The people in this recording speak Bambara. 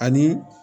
Ani